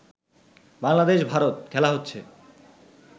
বাংলাদেশ-ভারত খেলা হচ্ছে